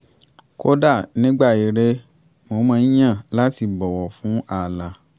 kódà nígbà ere mo máa ń yàn láti bọ́wọ̀ fún ààlà